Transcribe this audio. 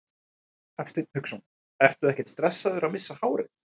Hafsteinn Hauksson: Ertu ekkert stressaður að missa hárið?